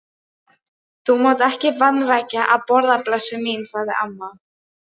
Þú mátt ekki vanrækja að borða, blessuð mín, sagði amma.